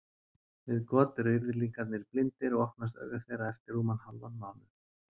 Við got eru yrðlingarnir blindir og opnast augu þeirra eftir rúman hálfan mánuð.